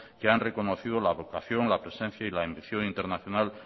que han reconocido la agrupación la presencia y la ambición internacional